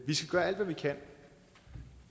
vi skal gøre alt hvad vi kan